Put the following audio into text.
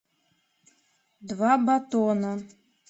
два батона